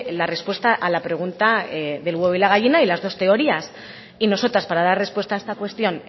la respuesta a la pregunta del huevo y la gallina y las dos teorías y nosotras para dar respuesta a esta cuestión